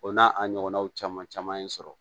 O n'a a ɲɔgɔnnaw caman caman ye n sɔrɔ